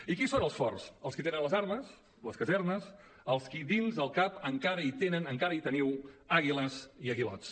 i qui són els forts els qui tenen les armes les casernes els qui dins el cap encara tenen encara hi teniu àguiles i aguilots